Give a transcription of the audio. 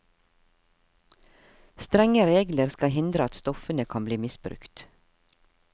Strenge regler skal hindre at stoffene kan bli misbrukt.